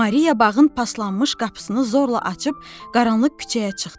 Maria bağın paslanmış qapısını zorla açıb qaranlıq küçəyə çıxdı.